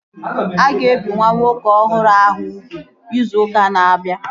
A ga-ebi nwa nwoke ọhụrụ ahụ ugwu izu ụka na-abịa